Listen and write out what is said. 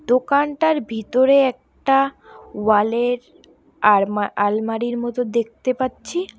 দোকানটার ভিতরে একটা ওয়াল -এর আর আল আলমারির মতো দেখতে পাচ্ছি।